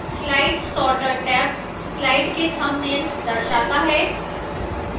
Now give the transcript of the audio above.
slide sorter tab slide के thumbnails दर्शाता है